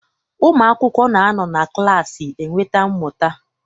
Ụmụ akwụkwọ na anọ na klaasị enweta mmụta.